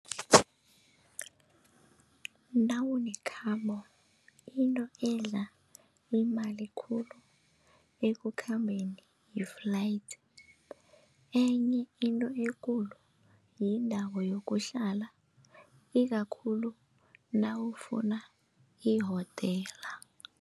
Nawunenekhabo into edla imali khulu ekukhambeni yi-flight, enye into ekulu yindawo yokuhlala, ikakhulu nawufuna iwotela.